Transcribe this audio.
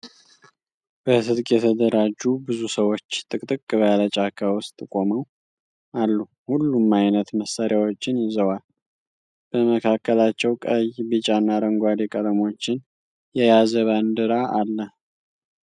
በትጥቅ የተደራጁ ብዙ ሰዎች ጥቅጥቅ ባለ ጫካ ውስጥ ቆመው አሉ። ሁሉም ዓይነት መሣሪያዎችን ይዘዋል። በመካከላቸው ቀይ፣ ቢጫ እና አረንጓዴ ቀለሞችን የያዘ ባንዲራ አለ።